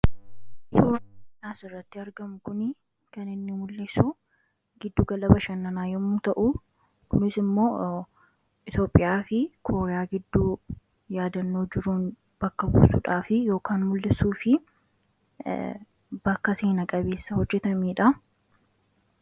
suuraan asirratti argamu kunii kan inni mul'isu giddu gala bashannanaa yommuu ta'u kunis immoo itoophiyaa fi kooriyaa gidduu yaadannoo jiruun bakka buusuudhaa fi yookin mul'isuu fi bakka seena-qabeessa hojjetameedha